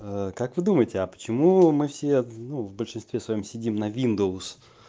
как вы думаете почему мы все ну в большинстве своём сидим на виндовс